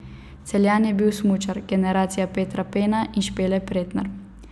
Celjan je bil smučar, generacija Petra Pena in Špele Pretnar.